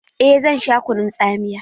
Eh zan sha kunun tsamiya.